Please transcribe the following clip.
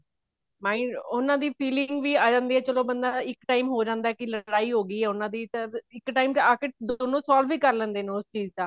ਤਾਹੀਂ ਉਹਨਾ ਦੀ felling ਵੀ ਆ ਜਾਂਦੀ ਹੈ ਚਲੋ ਬੰਦਾ ਇੱਕ time ਹੋ ਜਾਂਦਾ ਕੀ ਲੜਾਈ ਹੋਗੀ ਹੈ ਉਹਨਾ ਦੀ ਇੱਕ time ਤੇ ਆਕੇ ਦੋਨੋ solve ਵੀ ਕਰ ਲੈਂਦੇ ਨੇ ਉਸ ਚੀਜ਼ ਦਾ